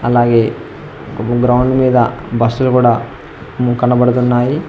అలాగే ఒక గ్రౌండ్ మీద బస్సులు గూడా కనబడుతున్నాయి.